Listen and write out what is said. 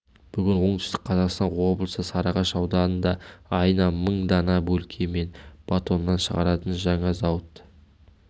бүгін оңтүстік қазақстан облысы сарыағаш ауданында айына мың дана бөлке мен батон нан шығаратын жаңа зауыт